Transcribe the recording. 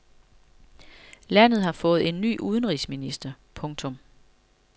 Landet har fået ny udenrigsminister. punktum